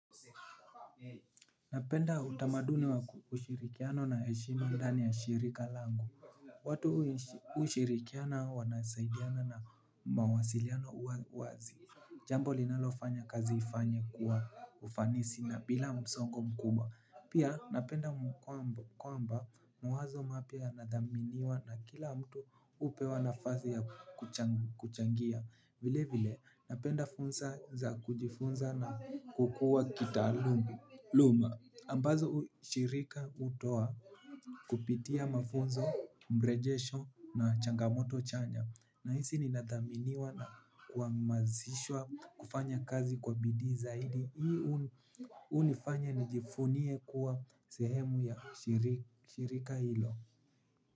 Napenda utamaduni wa ushirikiano na heshima ndani ya shirika langu. Watu ushirikiana wanasaidiana na mawasiliano uwa wazi. Jambo linalofanya kazi ifanye kwa ufanisi na bila msongo mkubwa. Pia napenda kwamba mwazo mapya yanadhaminiwa na kila mtu upewa nafasi ya kuchangia. Vile vile napenda fursa za kujifunza na kukua kitaaluma luma ambazo hu shirika utoa kupitia mafunzo, mrejesho na changamoto chanya. Nahisi ninathaminiwa na kuamazishwa kufanya kazi kwa bidii zaidi. Hii unifanya nijifunie kuwa sehemu ya ushirika hilo.